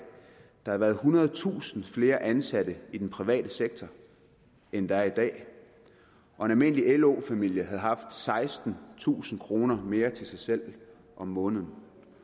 der havde været ethundredetusind flere ansatte i den private sektor end der er i dag og en almindelig lo familie havde haft sekstentusind kroner mere til sig selv om måneden